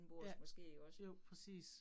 Ja, jo, præcis